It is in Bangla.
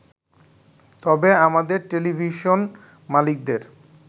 তবে আমাদের টেলিভিশন মালিকদের